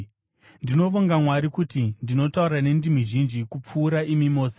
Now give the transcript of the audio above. Ndinovonga Mwari kuti ndinotaura nendimi zhinji kupfuura imi mose.